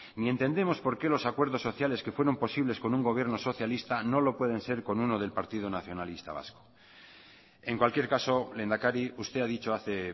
ni entendemos por qué los acuerdos sociales que fueron posibles con un gobierno socialista no lo pueden ser con uno del partido nacionalista vasco en cualquier caso lehendakari usted ha dicho hace